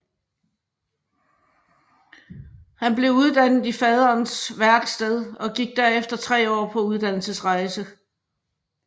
Han blev uddannet i faderens værksted og gik derefter tre år på uddannelserejse